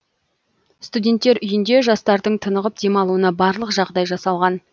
студенттер үйінде жастардың тынығып демалуына барлық жағдай жасалған